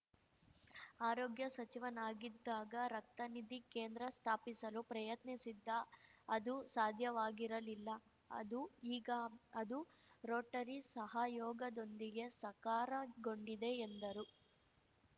ಆರೋಗ್ಯ ಸಚಿವನಾಗಿದ್ದಾಗ ರಕ್ತನಿಧಿ ಕೇಂದ್ರ ಸ್ಥಾಪಿಸಲು ಪ್ರಯತ್ನಿಸಿದ್ದ ಅದು ಸಾಧ್ಯವಾಗಿರಲಿಲ್ಲ ಅದು ಈಗ ಅದು ರೋಟರಿ ಸಹಯೋಗದೊಂದಿಗೆ ಸಕಾರಗೊಂಡಿದೆ ಎಂದರು